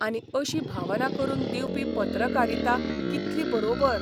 आनी अशी भावना करून दिवपी पत्रकारिता कितली बरोबर?